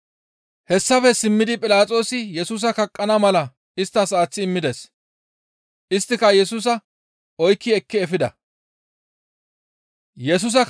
Hessafe simmidi Philaxoosi Yesusa kaqqana mala isttas aaththi immides. Isttika Yesusa oykki ekki efida.